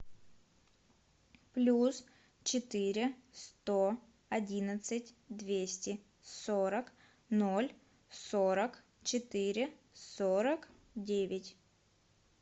плюс четыре сто одиннадцать двести сорок ноль сорок четыре сорок девять